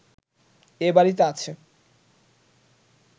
এ বাড়িতে আছে